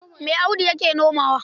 Me Audu yake nomawa?